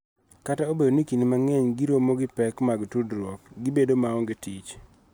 Kata obedo ni kinde mang�eny giromo gi pek ma tudruok gi bedo maonge tich.